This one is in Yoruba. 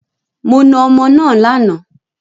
Mo náà ọmọ náà lànà